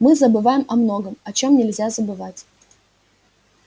мы забываем о многом о чём нельзя забывать